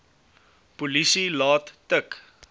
polisie laat tik